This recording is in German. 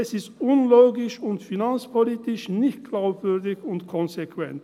es ist unlogisch und finanzpolitisch nicht glaubwürdig und konsequent.